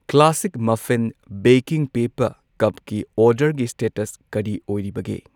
Classic muffin baking paper ꯀꯞꯀꯤ ꯑꯣꯔꯗꯔꯒꯤ status ꯀꯔꯤ ꯑꯣꯏꯔꯤꯕꯒꯦ꯫